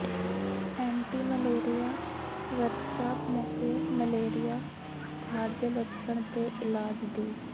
anti malaria workshop ਮੌਕੇ malaria ਬੁਖਾਰ ਦੇ ਲੱਛਣ ਤੇ ਇਲਾਜ ਦੀ